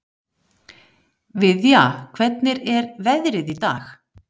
Viðja, hvernig er veðrið í dag?